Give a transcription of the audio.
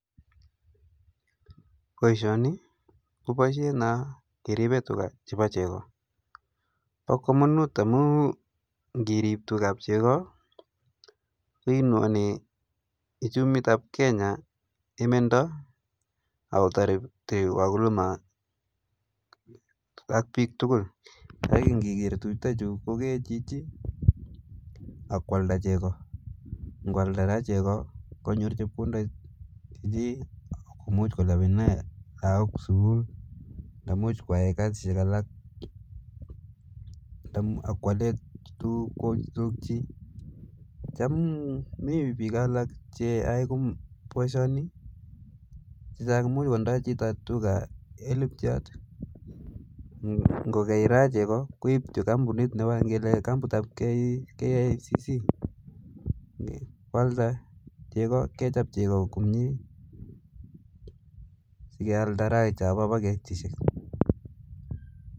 Boisioni ko boishet no kiripe tuga chebo chego, bo kamanut amun ngiriip tugab chego inone uchumitab Kenya imendo ako taare wakulima ak biik tugul aki ngigeer tugchutachu kokee chichi ak kwalda chego, ngwalda raa chego konyor chepkondok che imuch kolipane laok sukul ndamuch kwae kasisiek alak ak kwale tugukchi. Cham komi biik alaak che yoe boisioni chechang komuch kotindoi chito tuga elipchuat, kongei raa chego koipchi kampunit ngele raa kampunitab KCC kwalda chego, kechop raa komnye sikealda ra chobo paketishek.